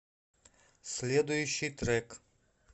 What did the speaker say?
следующий трек